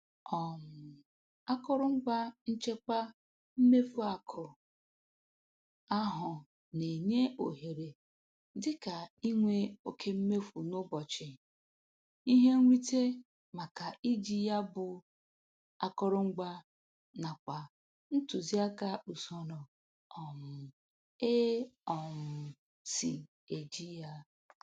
um Akụrụngwa nchekwa mmefu akụ ahụ na-enye ohere dịka inwe oke mmefu n'ụbọchị, ihe nrite maka iji ya bụ akụrụngwa nakwa ntụziaka usoro um e um si eji ya